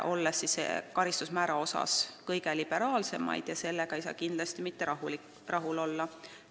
Eesti on selle karistusmäära poolest üks kõige liberaalsemaid maid ja sellega ei saa kindlasti mitte rahul olla.